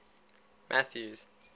mathews